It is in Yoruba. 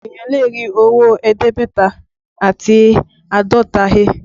Eniyan lè rí owó ẹ̀ẹ́dẹ́gbẹ̀ta àti àádọ́ta he